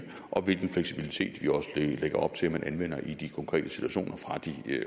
og hvilken fleksibilitet vi også lægger op til at man anvender i de konkrete situationer fra de